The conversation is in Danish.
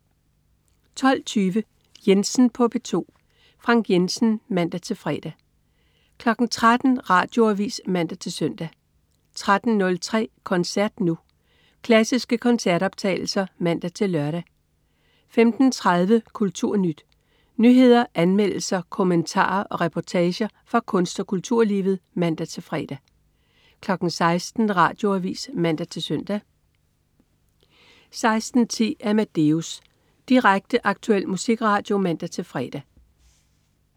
12.20 Jensen på P2. Frank Jensen (man-fre) 13.00 Radioavis (man-søn) 13.03 Koncert Nu. Klassiske koncertoptagelser (man-lør) 15.30 KulturNyt. Nyheder, anmeldelser, kommentarer og reportager fra kunst- og kulturlivet (man-fre) 16.00 Radioavis (man-søn) 16.10 Amadeus. Direkte, aktuel musikradio (man-fre)